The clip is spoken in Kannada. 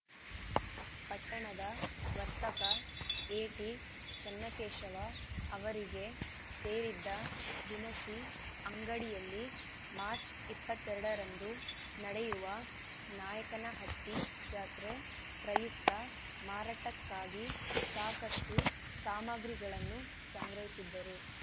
ಪಟ್ಟಣದ ವರ್ತಕ ಎಟಿಚನ್ನಕೇಶವ ಅವರಿಗೆ ಸೇರಿದ್ದ ದಿನಸಿ ಅಂಗಡಿಯಲ್ಲಿ ಮಾರ್ಚ್ ಇಪ್ಪತ್ತ್ ಎರಡ ರಂದು ನಡೆಯುವ ನಾಯಕನಹಟ್ಟಿ ಜಾತ್ರೆ ಪ್ರಯುಕ್ತ ಮಾರಾಟಕ್ಕಾಗಿ ಸಾಕಷ್ಟುಸಾಮಗ್ರಿಗಳನ್ನು ಸಂಗ್ರಹಿಸಿದ್ದರು